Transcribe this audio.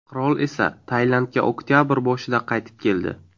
Qirol esa Tailandga oktabr boshida qaytib keldi.